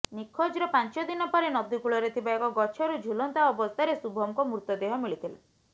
ନିଖୋଜର ପାଞ୍ଚ ଦିନ ପରେ ନଦୀକୂଳରେ ଥିବା ଏକ ଗଛରୁ ଝୁଲନ୍ତା ଅବସ୍ଥାରେ ଶୁଭମଙ୍କ ମୃତଦେହ ମିଳିଥିଲା